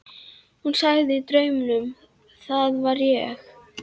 Hvaða bíógestur sem er gæti sagt manni hvað nú gerist.